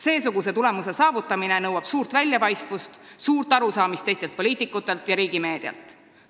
Seesuguse tulemuse saavutamine nõuab väljapaistvust, suurt arusaamist teistelt poliitikutelt ja riigi meedialt.